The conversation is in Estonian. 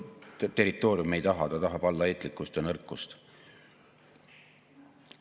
Territooriume ei taha, ta tahab allaheitlikkust ja nõrkust.